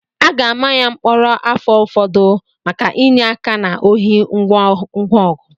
A ga-ama ya mkpọrọ afọ ụfọdụ maka inye aka na ohi ngwa ọgụ